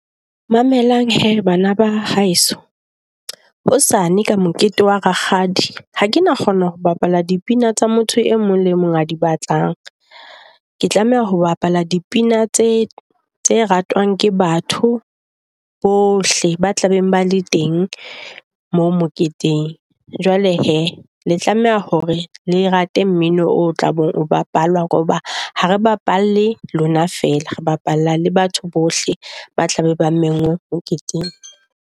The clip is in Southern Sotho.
Mamela hee bana ba haeso hosane ka mokete wa Rakgadi. Ha kena kgona ho bapalla di pina tsa motho e mong le mong a di batlang. Ke tlameha ho bapalla di pina tse tse ratwang ke batho bohle ba tla beng ba le teng moo moketeng. Jwale he, le tlameha hore le rate mmino o tla be o bapalwa hoba ha re bapalle lona fela re bapalla le batho bohle ba tlabe ba mengwe moketeng.